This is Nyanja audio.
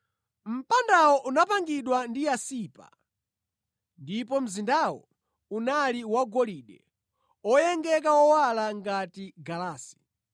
Mpandawo unapangidwa ndi yasipa, ndipo mzindawo unali wagolide oyengeka owala ngati galasi.